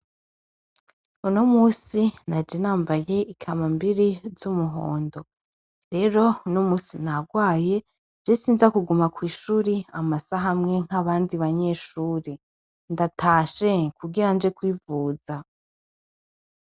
Unomunsi naje nambaye ikanambiri z'umuhondo, rero unomunsi nagwaye je sinza kuguma kw'ishuri amasaha amwe nk'abandi banyeshure, ndatashe kugiranje kwivuza.